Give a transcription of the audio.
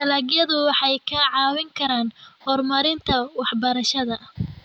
Dalagyadu waxay kaa caawin karaan horumarinta waxbarashada.